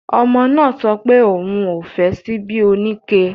Ọmọ náà sọpé òun ò fẹ́ ṣíbí oníke